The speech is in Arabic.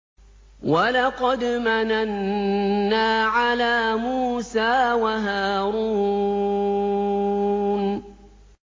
وَلَقَدْ مَنَنَّا عَلَىٰ مُوسَىٰ وَهَارُونَ